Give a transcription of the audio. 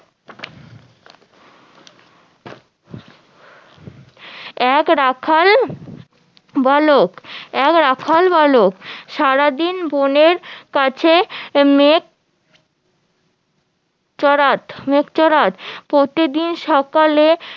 এক রাখাল বালক এক রাখাল বালক সারাদিন বনের কাছে মেষ চড়াত প্রতিদিন সকালে